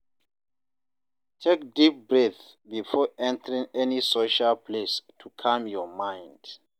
Take deep breath before entering any social place to calm your mind.